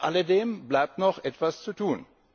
Trotz alledem bleibt noch etwas zu tun.